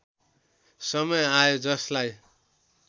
समय आयो जसलाई